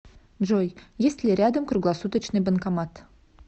джой есть ли рядом круглосуточный банкомат